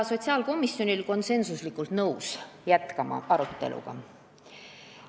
Sotsiaalkomisjon oli konsensuslikult nõus arutelu jätkama.